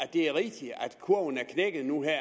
det er rigtigt at kurven er knækket nu her